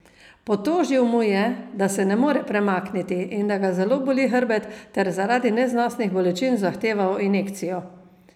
Potožil mu je, da se ne more premakniti in da ga zelo boli hrbet, ter zaradi neznosnih bolečin zahteval injekcijo.